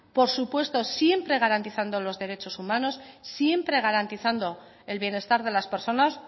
por supuesto siempre garantizando los derechos humanos siempre garantizando el bienestar de las personas